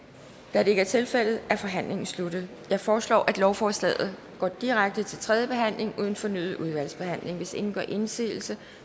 da det ikke tilfældet er forhandlingen sluttet jeg foreslår at lovforslaget går direkte til tredje behandling uden fornyet udvalgsbehandling hvis ingen gør indsigelse